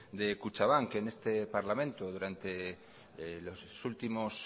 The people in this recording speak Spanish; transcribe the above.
de kutxabank en este parlamento durante los últimos